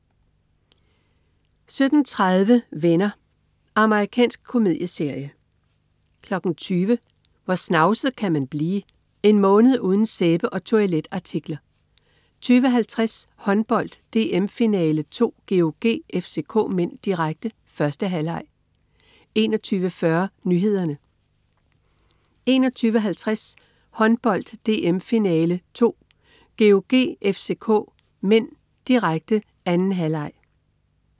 17.30 Venner. Amerikansk komedieserie 20.00 Hvor snavset kan man blive? En måned uden sæbe og toiletartikler! 20.50 Håndbold: DM-finale 2, GOG-FCK (m), direkte. 1. halvleg 21.40 Nyhederne 21.50 Håndbold: DM-finale 2, GOG-FCK (m), direkte. 2. halvleg